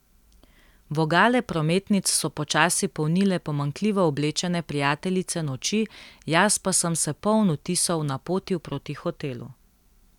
Vogale prometnic so počasi polnile pomanjkljivo oblečene prijateljice noči, jaz pa sem se poln vtisov napotil proti hotelu.